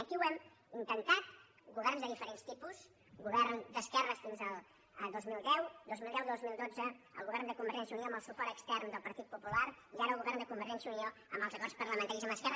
aquí ho hem intentat governs de diferents tipus govern d’esquerres fins al dos mil deu dos mil deu dos mil dotze el govern de convergència i unió amb el suport extern del partit popular i ara el govern de convergència i unió amb els acords parlamentaris amb esquerra